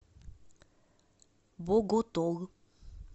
боготол